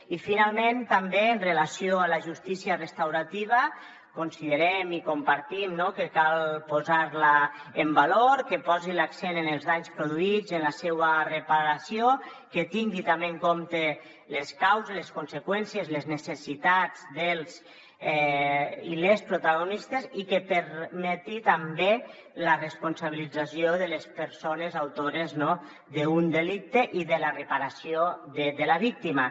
i finalment també amb relació a la justícia restaurativa considerem i compartim que cal posar la en valor que posi l’accent en els danys produïts en la seua reparació que tingui també en compte les causes les conseqüències les necessitats dels i les protagonistes i que permeti també la responsabilització de les persones autores d’un delicte i de la reparació de la víctima